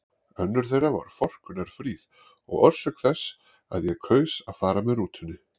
Önnur þeirra var forkunnarfríð og orsök þess að ég kaus að fara með rútunni.